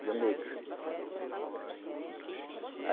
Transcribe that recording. Rio Negro. Rio Negro.